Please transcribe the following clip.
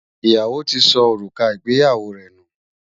Iyawo tí ṣó orúkà ìgbéyàwó rẹ nú